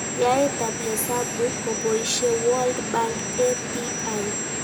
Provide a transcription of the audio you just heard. Yaetab hesabuk koboishe World Bank API